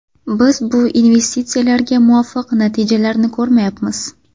Biz bu investitsiyalarga muvofiq natijalarni ko‘rmayapmiz.